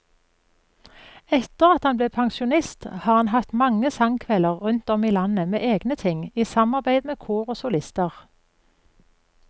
Etter at han ble pensjonist har han hatt mange sangkvelder rundt om i landet med egne ting, i samarbeid med kor og solister.